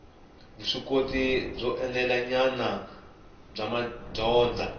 vuswikoti byo enelanyana bya madyondza